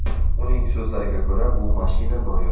Uning so‘zlariga ko‘ra, bu mashina noyob.